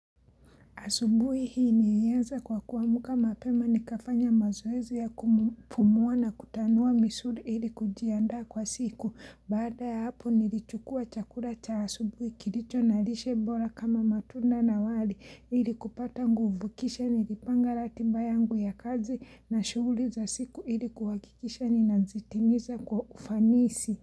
Asubuhi hii nilianza kwa kuamka mapema nikafanya mazoezi ya kupumua na kutanua misuli ili kujiandaa kwa siku. Baada ya hapo nilichukua chakula cha asubuhi kilicho na lishe bora kama matunda na wali ili kupata nguvu, kisha nilipanga ratiba yangu ya kazi na shughuli za siku ili kuhakikisha ninazitimiza kwa ufanisi.